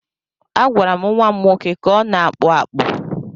Agwara m nwa m nwoke ka ọ na-akpụ akpụ.